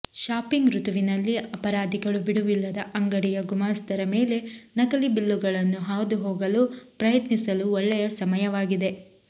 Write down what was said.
shopping ಋತುವಿನಲ್ಲಿ ಅಪರಾಧಿಗಳು ಬಿಡುವಿಲ್ಲದ ಅಂಗಡಿಯ ಗುಮಾಸ್ತರ ಮೇಲೆ ನಕಲಿ ಬಿಲ್ಲುಗಳನ್ನು ಹಾದುಹೋಗಲು ಪ್ರಯತ್ನಿಸಲು ಒಳ್ಳೆಯ ಸಮಯವಾಗಿದೆ